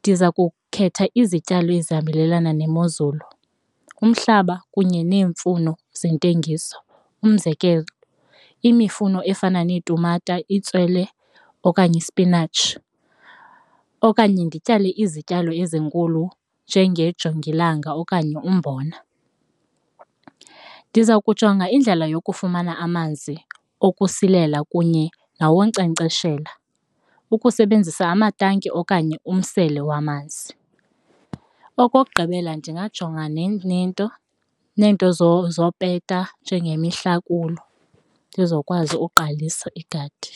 ndiza kukhetha izityalo ezihambelana nemozulu, umhlaba kunye neemfuno zentengiso, umzekelo imifuno efana neetumata, itswele okanye ispinatshi okanye ndityale izityalo ezinkulu njengenye jongilanga okanye umbona. Ndiza kujonga indlela yokufumana amanzi ukusilela kunye nawonkcenkceshela ukusebenzisa amatanki okanye umsele wamanzi. Okokugqibela ndingajonga ne nento neento zopeta njengemihlakulo ndizokwazi uqalisa igadi.